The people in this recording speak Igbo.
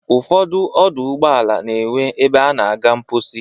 Ụfọdụ ọdọ ụgbọala na-enwe ebe a na-aga mkposi.